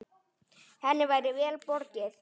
Henni væri vel borgið.